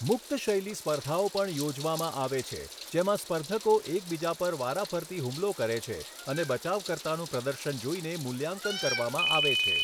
મુક્ત શૈલી સ્પર્ધાઓ પણ યોજવામાં આવે છે, જેમાં સ્પર્ધકો એકબીજા પર વારાફરતી હુમલો કરે છે અને બચાવકર્તાનું પ્રદર્શન જોઈને મૂલ્યાંકન કરવામાં આવે છે.